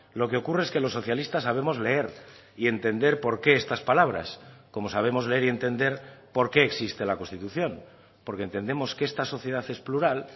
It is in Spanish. lo que ocurre es que los socialistas sabemos leer y entender por qué estas palabras como sabemos leer y entender por qué existe la constitución porque entendemos que esta sociedad es plural